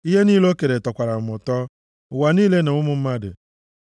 Ihe niile o kere tọkwara m ụtọ, ụwa niile na ụmụ mmadụ!